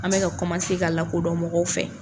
An bɛ ka ka lakodɔn mɔgɔw fɛ.